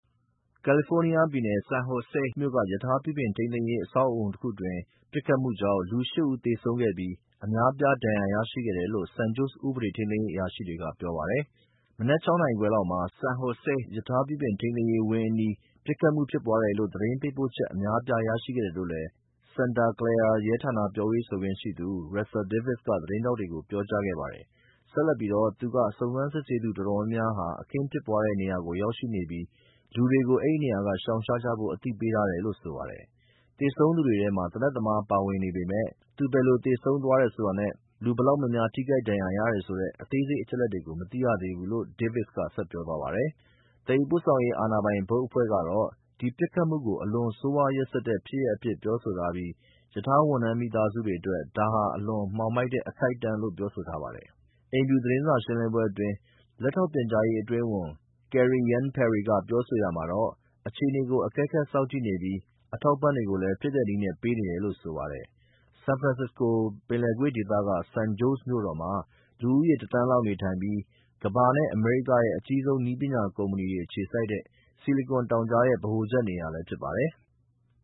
ကယ်လီဖိုးနီးယားပြည်နယ် San Jose မြို့က ရထားပြုပြင်ထိန်းသိမ်းရေးအဆောက်အအုံတခုအတွင်း ပစ်ခတ်မှုကြောင့် လူ ဦးသေဆုံးခဲ့ပြီး အများအပြား ဒဏ်ရာရရှိခဲ့တယ်လို့ San Jose ဥပဒေထိန်းသိမ်းရေး အရာရှိတွေက ပြောပါတယ်။ မနက်ခြောက်နာရီခွဲလောက်မှာ San Jose က ရထားပြုပြင်ထိန်းသိမ်းရေးဝင်းအနီးမှာ ပစ်ခတ်မှုဖြစ်ပွားတယ်လို့ သတင်းပေးပို့ချက်အများအပြားရရှိခဲ့တယ်လို့လည်း Santa Clara ရဲဌာနရဲ့ပြောရေးဆိုခွင့်ရှိသူ Russell Davis က သတင်းထောက်တွေကို ပြောကြားခဲ့ပါတယ်။ ဆက်လက်ပြီး သူက စုံစမ်းစစ်ဆေးသူ တော်တော်များများ အခင်းဖြစ်တဲ့ နေရာကို ရောက်ရှိနေပြီး လူတွေကို အဲဒီနေရာကနေ ရှောင်ရှားကြဖို့ အသိပေးထားတယ်လို့ဆိုပါတယ်။ သေဆုံးသူတွေထဲ သေနတ်သမားပါဝင်ပေမယ့် သူဘယ်လိုသေဆုံးသွားတယ်ဆိုတာနဲ့ ဘယ်လောက်များများ ထိခိုက်ဒဏ်ရာရတယ်ဆိုတဲ့ အသေးစိတ်အချက်အလက်ကို မသိရသေးဘူးလို့Davis က ဆက်ပြောသွားပါတယ်။ သယ်ယူပို့ဆောင်ရေး အာဏာပိုင် ဘုတ်အဖွဲ့ကတော့ ဒီပစ်ခတ်မှုကို အလွန် ဆိုးဝါးရက်စက်တဲ့ ဖြစ်ရပ်အဖြစ်ပြောဆိုထားပြီး ရထားဝန်ထမ်းမိသားစုတွေအတွက် ဒါဟာ အလွန် မှောင်မိုက်တဲ့ အခိုက်အတန့်လို့ပြောဆိုထားပါတယ်။ အိမ်ဖြူတော် သတင်းစာရှင်းလင်းပွဲအတွင်း လက်ထောက်ပြန်ကြားရေးအတွင်းဝန် Karine Jean Pierre က ပြောဆိုရာမှာတော့ အခြေအနေကို အကဲခပ်စောင့်ကြည့်နေပြီး အထောက်အပံ့တွေကိုလည်း ဖြစ်နိုင်တဲ့နည်းနဲ့ ပေးနေတယ်လို့ဆိုပါတယ်။ ဆန်ဖရန်စစ္စကို ပင်လယ်ကွေ့ဒေသက San Joes မြို့တော်မှာ လူဦးရေ တသန်းလောက်နေထိုင်ပြီး ကမ္ဘာနဲ့အမေရိကန်ရဲ့ အကြီးဆုံး နည်းပညာ ကုမ္မဏီတွေအခြေစိုက်တဲ့ ဆီလီကွန်တောင်ကြားရဲ့ ဗဟိုချက်နေရာလည်းဖြစ်ပါတယ်။